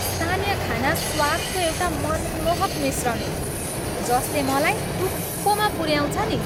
स्थानीय खाना स्वादको एउटा मनमोहक मिश्रण हो जसले मलाई टुप्पोमा पुऱ्याउँछ नि।